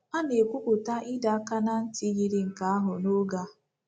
A na-ekwụpụta ịdọ aka ná ntị yiri nke ahụ n’oge a.